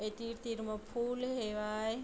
ए तीर-तीर म फूल हेवय--